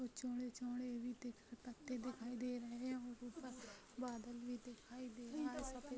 ऊ-चौड़े-चौड़े पत्ते भी दिखाई दे रहे है और ऊपर बादल भी दिखाई दे रहा है सफ़ेद--